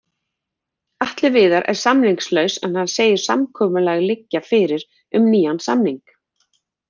Atli Viðar er samningslaus en hann segir samkomulag liggja fyrir um nýjan samning.